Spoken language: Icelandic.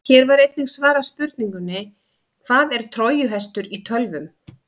Hér var einnig svarað spurningunni: Hvað er trójuhestur í tölvum?